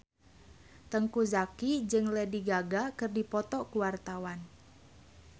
Teuku Zacky jeung Lady Gaga keur dipoto ku wartawan